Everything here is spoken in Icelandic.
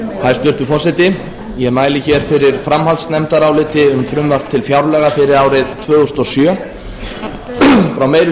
hæstvirtur forseti ég mæli hér fyrir framhaldsnefndaráliti um frumvarp til fjárlaga fyrir árið tvö þúsund og sjö frá meiri